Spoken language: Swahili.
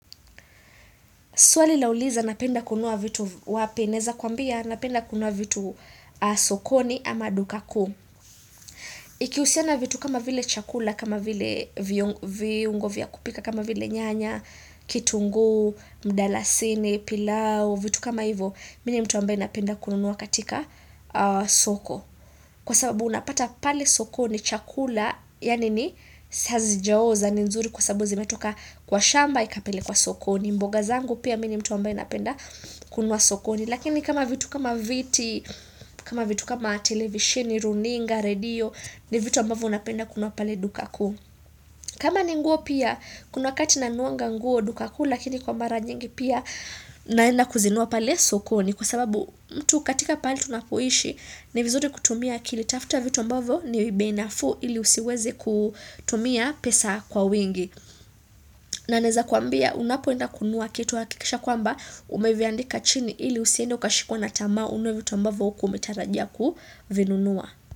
Swali lauliza, napenda kununua vitu wapi? Naeza kwambia napenda kunua vitu sokoni ama duka kuu. Ikiusiana vitu kama vile chakula, kama vile viungo vya kupika, kama vile nyanya, kitunguu, mdalasini, pilau. Vitu kama hivyo. Mini ni mtu ambaye napenda kunua katika soko. Kwa sababu unapata pale sokoni chakula, yan ini, hazijaoza. Ni nzuri kwa sababu zimetoka kwa shamba, ikapelekwa sokoni. Mboga zangu pia mimi ni mtu ambaye napenda kununua sokoni. Lakini kama vitu kama viti. Kama vitu kama televisheni, runinga, radio. Ni vitu ambavyo napenda kununua pale duka kuu. Kama ni nguo pia. Kuna wakati nanuanga nguo duka kuu. Lakini kwa mara nyingi pia naenda kuzinunua pale sokoni Kwa sababu mtu katika pali tunapoishi, ni vizuri kutumia akili. Tafta vitu ambavyo ni beI nafuu. Ili usiweze kutumia pesa kwa wingi. Na naeza kwambia, unapoenda kununua, kitu hakikisha kwamba umeviandika chini ili usiende ukashikwa na tamaa ununue vitu ambavo hukuwa umetarajia kuvinunua.